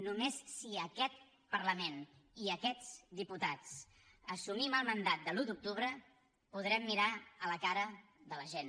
només si aquest parlament i aquests diputats assumim el mandat de l’un d’octubre podrem mirar la cara de la gent